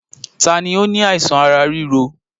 Taàní ó ní àìsàn ará ríro?